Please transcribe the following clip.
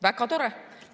Väga tore!